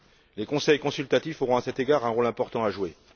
Les conseils consultatifs auront, à cet égard, un rôle important à jouer.